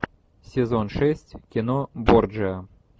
сезон шесть кино борджиа